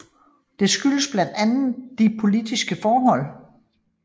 Det skyldes blandt andet de politiske forhold